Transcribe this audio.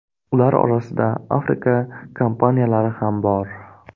Ular orasida Afrika kompaniyalari ham bor.